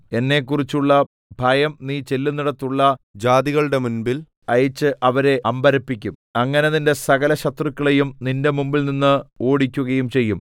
എന്നെക്കുറിച്ചുള്ള ഭയം നീ ചെല്ലുന്നിടത്തുള്ള ജാതികളുടെ മുൻമ്പിൽ അയച്ച് അവരെ അമ്പരപ്പിക്കും അങ്ങനെ നിന്റെ സകലശത്രുക്കളെയും നിന്റെ മുമ്പിൽനിന്ന് ഓടിക്കുകയും ചെയ്യും